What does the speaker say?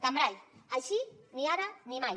cambray així ni ara ni mai